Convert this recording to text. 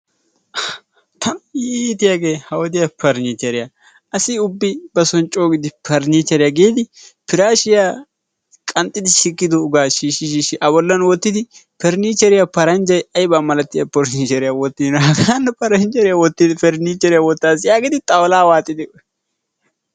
Tana iitiyagee ha wodiya parnniichcheriya asi ubbi bason coo parnniichcheriya giidi piraashiya qanxxidi sikkidoogaa shiishshi shiishshi a bollan wottidi parniichcheriya paranjjayi ayba malatiya porshiisheriya wottiina hanno parniicheriya wottaas yaagidi xawulaa waaxidi...